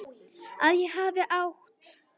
Að ég hafi átt.?